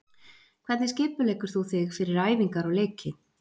Hvernig skipuleggur þú þig fyrir æfingar og leiki?